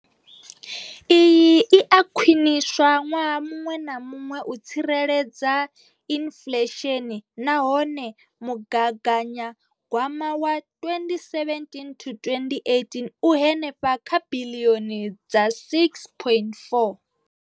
Iyi i a khwiniswa ṅwaha muṅwe na muṅwe u tsireledza inflesheni nahone mugaganyagwama wa 2017 to 18 u henefha kha biḽioni dza R6.4.